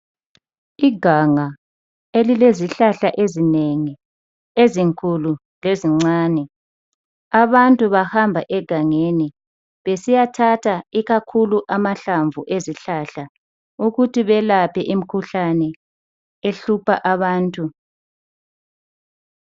iganga elilezihlahla ezinengi ezinkulu lezincane abantu bahamba egangeni besiyathatha ikakhulu amahlamvu ezihlahla ukuthi belaphe imikhuhlane ehlupha abantu